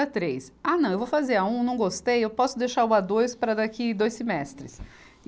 três, ah não, eu vou fazer A um, não gostei, eu posso deixar o A dois para daqui dois semestres.